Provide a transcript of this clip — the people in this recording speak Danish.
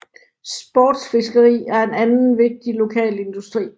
Sportsfiskeri er en anden vigtig lokal industri